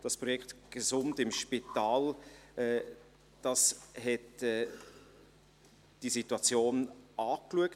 Das Projekt «Gesund im Spital» hat diese Situation angeschaut.